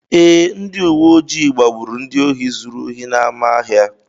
Ee, ndị uwe ojii gbagburu ndị ohi zuru ohi n’ámá ahịa.